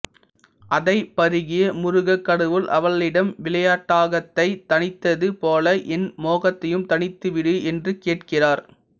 அதைப் பருகிய முருகக் கடவுள் அவளிடம் விளையாட்டாக தாகத்தைத் தணித்தது போல் என் மோகத்தையும் தணித்துவிடு என்று கேட்கிறார்